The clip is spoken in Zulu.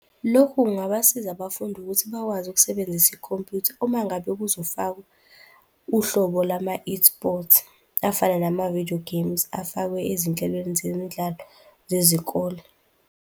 Lokhu kungabasiza abafundi ukuthi bakwazi ukusebenzisa ikhompyutha uma ngabe kuzofakwa uhlobo lama-esports, afana namavidiyo geyimu afakwe ezinhlelweni zemidlalo zezikole.